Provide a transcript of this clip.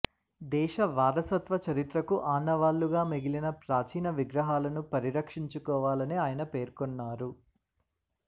దేశ వారసత్వ చరిత్రకు ఆనావాళ్లుగా మిగిలిన ప్రాచీన విగ్రహాలను పరిరక్షించుకోవాలని ఆయన పేర్కొన్నారు